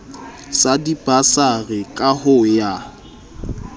sa dibasari ka ho ya